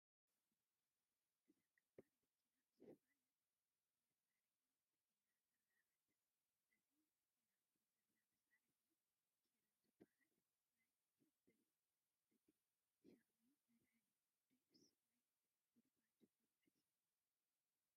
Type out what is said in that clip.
እዛ ከባድ መኪና ዝኾነ መሳርሒ ፅዒና ትርአ ኣላ፡፡ እዚ ፅዒናቶ ዘላ መሳርሒ ክሬን ዝበሃል ናይ ከበድቲ ሸኽሚ መልዓሊ ድዩስ ናይ ጉድጓዶ መኩዓቲ?